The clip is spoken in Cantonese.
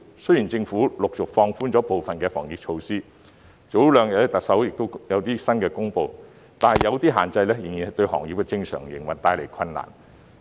雖然政府陸續放寬部分防疫措施，特首在早兩天也有一些新公布，但有些限制仍然對行業的正常營運帶來困難。